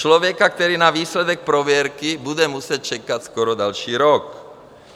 Člověka, který na výsledek prověrky bude muset čekat skoro další rok.